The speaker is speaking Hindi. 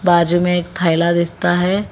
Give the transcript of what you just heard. बाजू में एक थैला दिसता है।